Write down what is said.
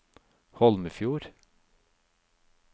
Holmefjord